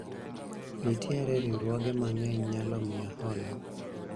nitiere riwruoge mang'eny nyalo miya hola